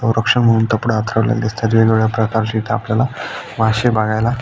म्हणून कपडा अथरलेली दिसताएत वेगवेगळ्या प्रकारचे इथ आपल्याला मासे बघायला--